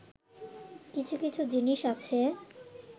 কিছু কিছু জিনিস আছে